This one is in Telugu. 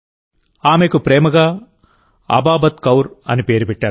ఆమెకు ప్రేమగా అబాబత్ కౌర్ అని పేరు పెట్టారు